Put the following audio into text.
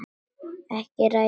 Ekki að ræða það.